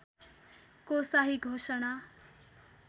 को शाही घोषणा